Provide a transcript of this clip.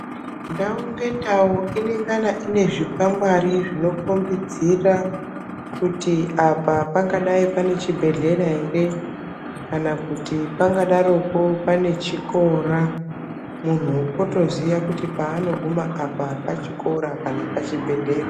Ndau ngendau inengana inezvikwangwari zvinokombidzira kuti apa pangadai pane chibhedhlera ere kana kuti pangadaroko pane chikora muntu otoziya kuti paanoguma apa pachikora kana pachibhedhlera.